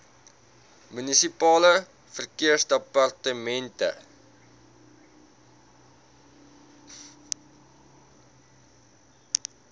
munisipale verkeersdepartemente